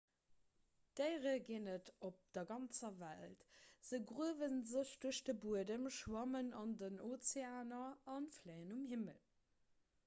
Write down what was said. déiere ginn et op der ganzer welt se gruewe sech duerch de buedem schwammen an den ozeaner a fléien um himmel